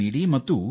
ಇದಕ್ಕಾಗಿ ನಾವು ಡಾ